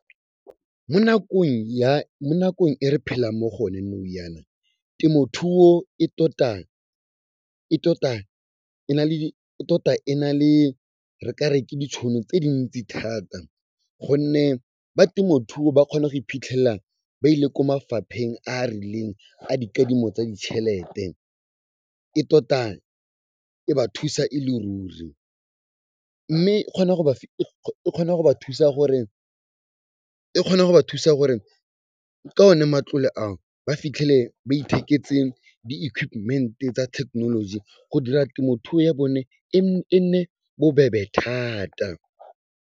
Mo nakong e re phelang mo go yone nou yaana, temothuo e tota e na le, re kare ke ditšhono tse dintsi thata gonne ba temothuo ba kgona go iphitlhela ba ile ko mafapheng a a rileng a dikadimo tsa ditšhelete. E tota e ba thusa e le ruri mme e kgona go ba thusa gore ka one matlole ao, ba fitlhele ba itheketse di equipment-e tsa technology go dira temothuo ya bone e nne bobebe thata.